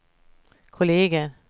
kolleger